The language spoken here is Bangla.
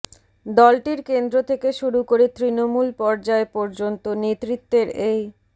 দলটির কেন্দ্র থেকে শুরু করে তৃণমূল পর্যায় পর্যন্ত নেতৃত্বের এই